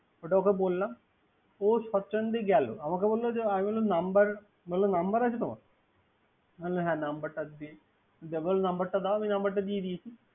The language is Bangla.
ওটা ওকে বললাম। ও সচ্ছন্দে গেল। আমাকে বললব। আমি বললাম নাম্বার। মানে নাম্বার আছে তোমার। নাম্বার দাও। নাম্বারটা দিয়ে দিয়েছে।